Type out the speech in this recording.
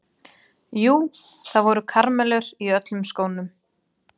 Jú, það voru karamellur í öllum skónum.